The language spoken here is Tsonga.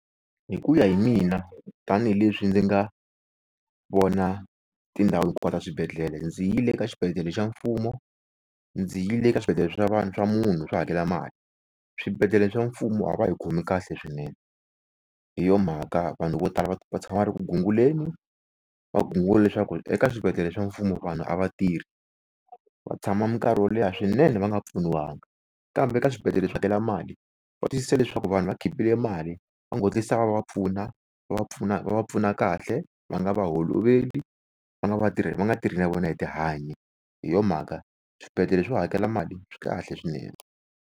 Hi ku ya hi mina tanihileswi ndzi nga vona tindhawu kwala swibedhlele, bndzi yile ka swibedhlele swa mfumo ndzi yi le ka swibedhlele swa vanhu Swa munhu swo hakela mali. Swibedlhele swa mfumo a va hi khomi kahle swinene, hi yo mhaka vanhu vo tala va tshama va ri ku gunguleni va gungula leswaku eka swibedhlele swa mfumo vanhu a va tirhi vq tshama mikarhi yo leha swinene va nga pfuniwaka. Kambe ka swibedhlele swo hakela mali va twisisa leswaku vanhu va khipile mali va getlisa va va pfuna va va pfuna pfuna kahle, va nga va holoveli va nga tirhi na nga tirhi na vona hi tihanyi. Hi yo mhaka swibedhlele swo hakela mali swi kahle swinene.